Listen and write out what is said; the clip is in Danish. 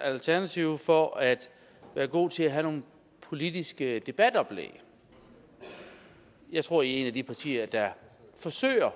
alternativet for at være gode til at have nogle politiske debatoplæg jeg tror at i er et af de partier der forsøger